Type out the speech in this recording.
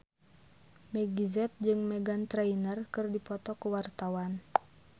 Meggie Z jeung Meghan Trainor keur dipoto ku wartawan